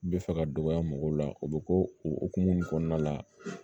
Bɛ fɛ ka dɔgɔya mɔgɔw la o bɛ ko o hokumu kɔnɔna la